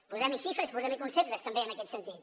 posem hi xifres i posem hi conceptes també en aquest sentit